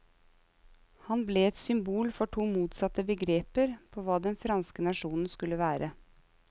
Han ble et symbol for to motsatte begreper på hva den franske nasjon skulle være.